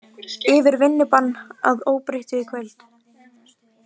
Yfirvinnubann að óbreyttu í kvöld